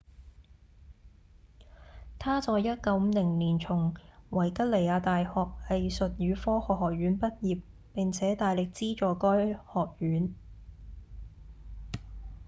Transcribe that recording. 他在1950年從維吉尼亞大學藝術與科學學院畢業並且大力資助該學院